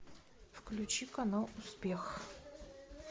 включи канал успех